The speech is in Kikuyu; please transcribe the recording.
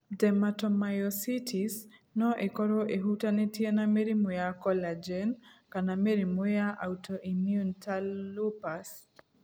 Dermatomyositis no ĩkorũo ĩhutanĩtie na mĩrimũ ya collagen kana mĩrimũ ya autoimmune ta lupus.